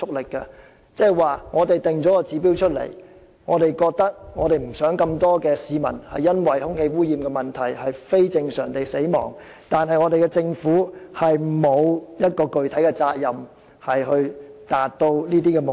換言之，儘管訂下了指標，希望不會有這麼多市民因為空氣污染問題而非正常地死亡，但政府卻沒有具體責任要達到這些指標。